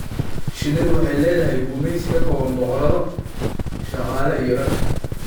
Shinnidu waxay leedahay gumeysi ka kooban boqorado, shaqaale iyo rag.